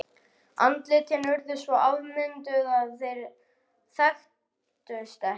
Andlitin urðu svo afmynduð að þeir þekktust ekki.